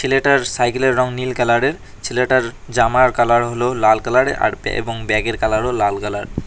ছেলেটার সাইকেলের রং নীল কালারের ছেলেটার জামার কালার হল লাল কালারের আর এবং ব্যাগের কালারও লাল কালার ।